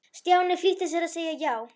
Stjáni flýtti sér að segja já.